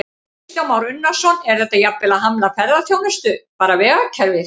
Kristján Már Unnarsson: Er þetta jafnvel að hamla ferðaþjónustu, bara vegakerfið?